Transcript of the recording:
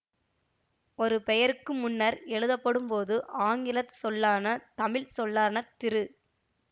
ஒரு பெயருக்கு முன்னர் எழுதப்படும் போது ஆங்கிலச் சொல்லான தமிழ்ச்சொல்லான திரு